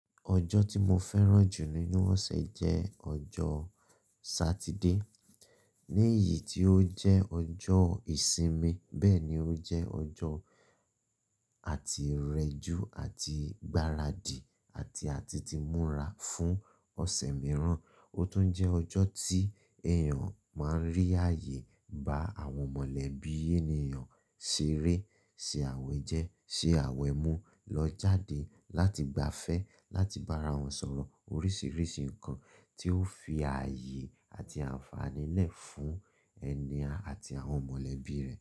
Ọjọ́ tí mo fẹ́ràn jù nínú ọ̀sẹ̀ jẹ́ ọjọ́ Sátìdéè, ní ìyí tí ó jẹ́ ọjọ́ ìsimi, bẹ́ ni ó jẹ́ ọjọ́ àti rẹjú àti gbaradì àti a ti ti múra fún ọ̀sẹ̀ mìràn. O tún jẹ́ ọjọ́ tí èèyàn máa ń rí ààyè bá àwọn mọ̀lẹ́bí ènìyàn ṣeré, ṣé àwẹ̀ jẹ, ṣé àwẹ̀ mú, lọ jáde láti gbafẹ́, láti bá ara wọn sọ̀rọ̀ oríṣiríṣi nǹkan tí ó fi ààyè àti àǹfààní lé fún ẹni àti àwọn mọ̀lẹ́bí rẹ̀.